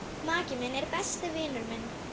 Maki minn er besti vinur minn.